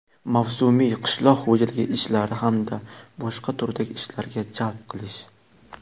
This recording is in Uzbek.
mavsumiy qishloq xoʼjaligi ishlari hamda boshqa turdagi ishlarga jalb qilish;.